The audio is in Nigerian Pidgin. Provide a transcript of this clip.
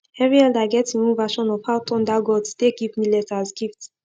every elder get him own version of how thunder gods take give millet as gift